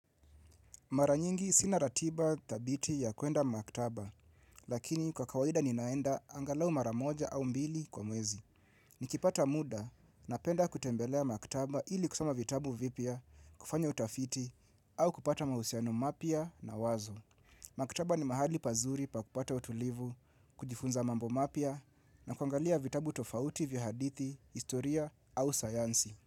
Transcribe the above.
Mara nyingi sina ratiba thabiti ya kwenda maktaba, lakini kwa kawaida ninaenda angalau mara moja au mbili kwa mwezi. Nikipata muda napenda kutembelea maktaba ili kusoma vitabu vipya, kufanya utafiti, au kupata mahusiano mapya na wazo. Maktaba ni mahali pazuri pa kupata utulivu, kujifunza mambo mapya na kuangalia vitabu tofauti vya hadithi, historia au sayansi.